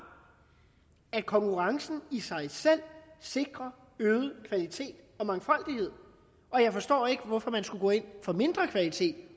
at konkurrencen i sig selv sikrer øget kvalitet og mangfoldighed jeg forstår ikke hvorfor man skulle gå ind for mindre kvalitet